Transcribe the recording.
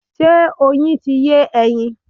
Ṣé Oyin ti yé ẹyin?